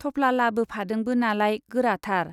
थफ्ला लाबोफादोंबो नालाय, गोराथार।